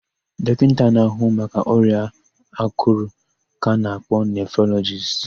Dọkịta na-áhụ̀ maka ọrịa àkụ̀rụ̀ ka ana-akpọ nefrolọjist.